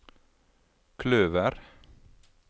kløver